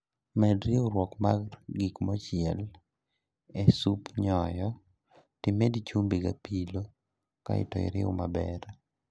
Med riurwok mar gik mochiel e suf nyoyo timed chumbi gapilo kasto iriw maber